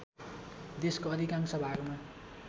देशको अधिकांश भागमा